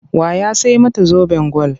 Wa ya sai mata zoben gwal?